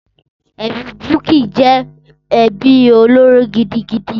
Ẹbí Bukky jẹ́ ẹbí olóró gidigidi.